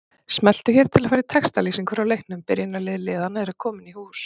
Smelltu hér til að fara í textalýsingu frá leiknum Byrjunarlið liðanna eru komin í hús.